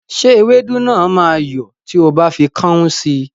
Ṣé ewédú náà máa yọ́ tí o bá fi kọ́ún sí?